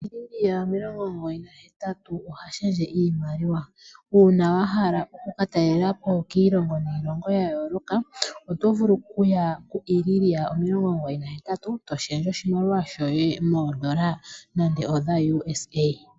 Iliria omilongo omugoyi na hetatu oha lundulula iimaliwa. Uuna wa hala oku ka talelapo kiilongo niilongo ya yooloka, oto vulu okuya ku Iliria omilongo omugoyi na hetatu to lundulula oshimaliwa shoye moondola nande odha USA.